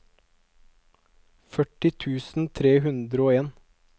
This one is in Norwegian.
førti tusen tre hundre og en